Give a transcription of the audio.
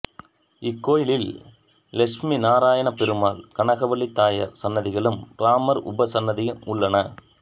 இக்கோயிலில் லட்சுமிநாராயணப்பெருமாள் கனகவல்லி தாயார் சன்னதிகளும் ராமர் உபசன்னதியும் உள்ளன